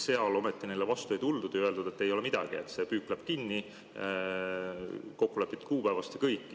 Seal ometi neile vastu ei tuldud ja öeldi, et ei ole midagi, püük läheb kinni kokkulepitud kuupäevast, ja kõik.